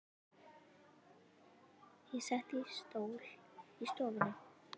Ég settist í stól í stofunni.